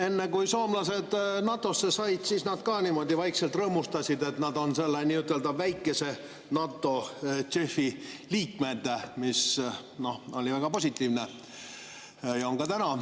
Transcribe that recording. Enne kui soomlased NATO‑sse said, nad ka niimoodi vaikselt rõõmustasid, et nad on selle nii-öelda väikese NATO ehk JEF‑i liikmed, mis oli väga positiivne ja on ka täna.